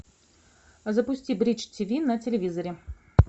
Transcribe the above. запусти бридж тв на телевизоре